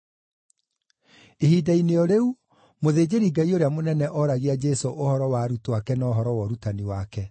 Ihinda-inĩ o rĩu, mũthĩnjĩri-Ngai ũrĩa mũnene oragia Jesũ ũhoro wa arutwo ake na ũhoro wa ũrutani wake.